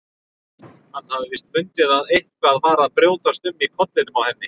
Hann hafði víst fundið að eitthvað var að brjótast um í kollinum á henni.